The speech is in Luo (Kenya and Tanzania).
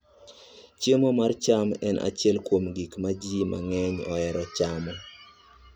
Chiemo mar cham en achiel kuom gik ma ji mang'eny ohero chamo.